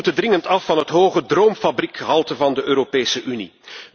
We moeten dringend af van het hoge droomfabriekgehalte van de Europese Unie.